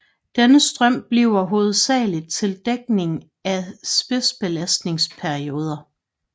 Denne strøm bliver hovedsageligt til dækning af spidsbelastningsperioder